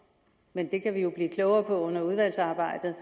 men det kan vi jo blive klogere på under udvalgsarbejdet